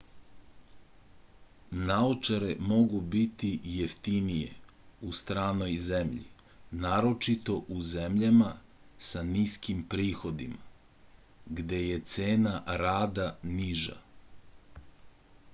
naočare mogu biti jeftinije u stranoj zemlji naročito u zemljama sa niskim prihodima gde je cena rada niža